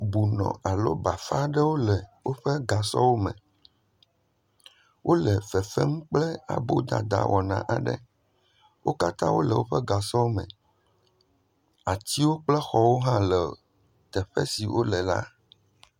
Bonɔ alo bafa aɖewo le woƒe gasɔwo me, wole fefem kple abodada wɔna aɖe, wo katã wole woƒe gasɔwo me, atiwo kple xɔwo hã le teƒe si wole la.